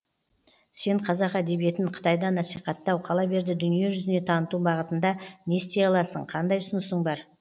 сен қазақ әдебиетін қытайда насиқаттау қала берді дүние жүзіне таныту бағытында не істей аласың қандай ұсынысың бар